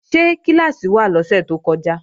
Ṣé kíláàsì wà lọ́sẹ̀ tó kọjá?